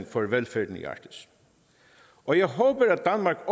for velfærd i arktis og jeg håber at